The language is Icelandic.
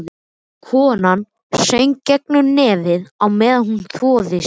Konan söng gegnum nefið á meðan hún þvoði sér.